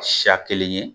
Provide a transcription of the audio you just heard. Siya kelen ye